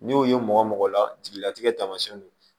N'i y'o ye mɔgɔ mɔgɔ la jeliyatigɛ taamasiyɛnw ye